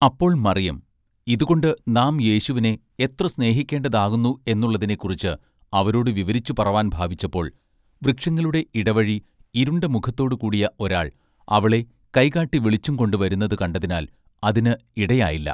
അപ്പോൾ മറിയം ഇതുകൊണ്ട് നാം യേശുവിനെ എത്ര സ്നേഹിക്കേണ്ടതാകുന്നു എന്നുള്ളതിനെ കുറിച്ച് അവരോടു വിവരിച്ചു പറവാൻ ഭാവിച്ചപ്പോൾ വൃക്ഷങ്ങളുടെ ഇടവഴി ഇരുണ്ട മുഖത്തോടു കൂടിയ ഒരാൾ അവളെ കൈ കാട്ടി വിളിച്ചുംകൊണ്ട് വരുന്നത് കണ്ടതിനാൽ അതിന് ഇടയായില്ലാ.